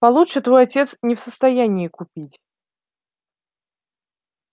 получше твой отец не в состоянии купить